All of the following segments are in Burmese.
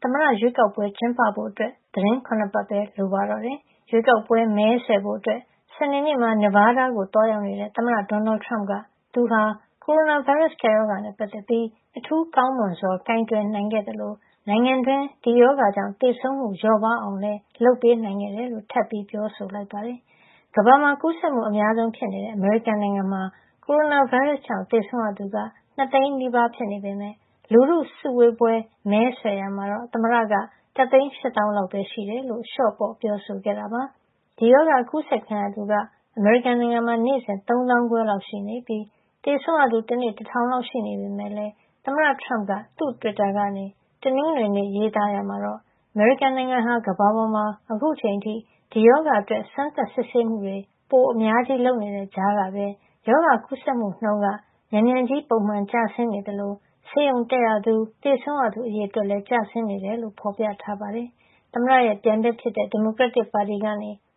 သမ္မတရွေးကောက်ပွဲ ကျင်းပဖို့ သီတင်း ၇ ပတ်ပဲ လိုပါတော့တယ်။ ရွေးကောက်ပွဲ မဲဆွယ်ဖို့ စနေနေ့မှာ Nevada ကို သွားရောက်နေတဲ့ သမ္မတ Donald Trump က သူဟာ ကိုရိုနာဗိုင်းရပ်စ် ကပ်ရောဂါနဲ့ ပတ်သက်ပြီး အထူးကောင်းမွန်စွာ ကိုင်တွယ်နိုင်ခဲ့သလို နိုင်ငံတွင်း ဒီရောဂါကြောင့် သေဆုံးမှု လျော့ပါးအောင်လည်း လုပ်ပေးနိုင်ခဲ့တယ်လို့ ထပ်ပြီး ပြောဆိုလိုက်ပါတယ်။ ကမ္ဘာမှာ ကူးစက်မှုအများဆုံး ဖြစ်နေတဲ့ အမေရိကန်နိုင်ငံမှာ ကိုရိုနာဗိုင်းရပ်စ်ကြောင့် သေဆုံးရသူက ၂၀၀,၀၀၀ နီးပါး ဖြစ်နေပေမယ့် လူထုစုဝေးပွဲ မဲဆွယ်ရာမှာတော့ သမ္မတက ၁၈၀,၀၀၀ လောက်ပဲရှိတယ်လို့ လျှော့ပေါ့ ပြောခဲ့တာပါ။ ဒီရောဂါ အကူးစက်ခံရသူက အမေရိကန်နိုင်ငံမှာ နေ့စဉ် ၃ သောင်းခွဲလောက်ရှိပြီး သေဆုံးသူ တနေ့ ၁,၀၀၀ လောက် ရှိနေပေမယ့်လည်း သမ္မတ Trump သူ့တွစ်တာကနေ တနင်္ဂနွေနေ့က ရေးသားရာမှာတော့ အမေရိကန်နိုင်ငံဟာ ကမ္ဘာပေါ်မှာ အခုချိန်အထိ ဒီရောဂါအတွက် စမ်းသပ်စစ်ဆေးမှုတွေ ပိုအများကြီး လုပ်နေတဲ့ကြားကပဲ ရောဂါကူးစက်မှုနှုန်းက မြန်မြန်ကြီး ပုံမှန်ကျဆင်းနေသလို ဆေးရုံတက်ရသူ၊ သေဆုံးသူ အရေအတွက်လည်း ကျဆင်းနေတယ်လို့ ဖော်ပြထားပါတယ်။ သမ္မတ Trump ရဲ့ ပြိုင်ဘက်ဖြစ်တဲ့ ဒီမိုကရက်တစ်ပါတီက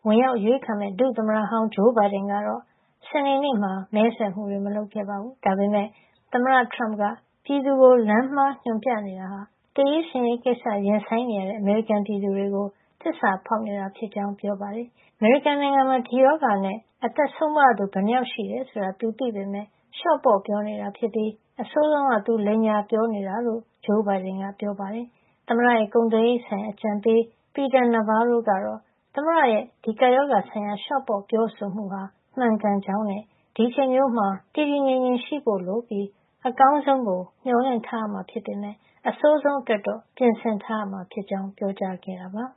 ဝင်ရောက်အရွေးခံမယ့် ဒုသမ္မတဟောင်း Joe Biden ကတော့ စနေနေ့မှာ မဲဆွယ်မှုတွေ မလုပ်ခဲ့ပါဘူး။ ဒါပေမယ့် သမ္မတ Trump က ပြည်သူကို လမ်းမှားညွှန်ပြနေတာဟာ သေရေးရှင်ရေးကိစ္စ ရင်ဆိုင်နေရတဲ့ အမေရိကန်ပြည်သူတွေကို သစ္စာဖောက်နေတာဖြစ်ကြောင်း ပြောပါတယ်။ အမေရိကန်နိုင်ငံမှာ ဒီရောဂါနဲ့ လူဘယ်လောက် အသက်ဆုံးပါးရတယ် ဆိုတာကို သူသိပေမယ့် လျှော့ပေါ့ပြောနေတာဖြစ်ပြီး အဆိုးဆုံးက သူလိမ်ညာပြောနေတာ ဖြစ်ကြောင်း Joe Biden က ပြောပါတယ်။ သမ္မတရဲ့ ကုန်သွယ်ရေးဆိုင်ရာ အကြံပေး Peter Navarro ကတော့ သမ္မတရဲ့ ဒီကပ်ရောဂါဆိုင်ရာ လျှော့ပေါ့ပြောဆိုမှုဟာ မှန်ကန်ကြောင်းနဲ့ ဒီအချိန်မျိုးမှာ တည်တည်ငြိမ်ငြိမ်ရှိဖို့လိုပြီး အကောင်းဆုံးကို မျှော်လင့်ထားရမှာ ဖြစ်ပေမယ့် အဆိုးဆုံးအတွက်တော့ ပြင်ဆင်ထားရမှာ ဖြစ်ကြောင်း ပြောခဲ့တာပါ။